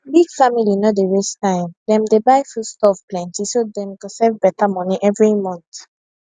big family no dey waste time dem dey buy foodstuff plenty so dem go save better money every month